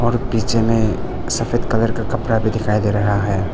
और पीछे में सफेद कलर का कपड़ा भी दिखाई दे रहा है।